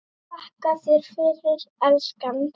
Þakka þér fyrir, elskan.